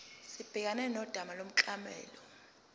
sibhekane nodaba lomklomelo